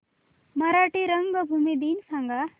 मराठी रंगभूमी दिन सांगा